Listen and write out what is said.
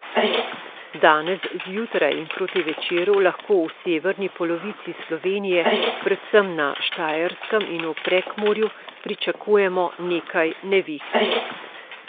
Danes zjutraj in proti večeru lahko v severni polovici Slovenije, predvsem na Štajerskem in v Prekmurju, pričakujemo nekaj neviht.